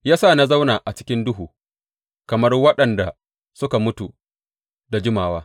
Ya sa na zauna a cikin duhu kamar waɗanda suka mutu da jimawa.